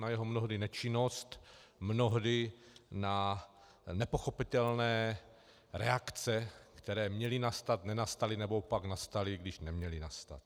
Na jeho mnohdy nečinnost, mnohdy na nepochopitelné reakce, které měly nastat, nenastaly, nebo pak nastaly, když neměly nastat.